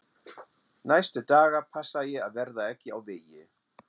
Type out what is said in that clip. Næstu daga passaði ég að verða ekki á vegi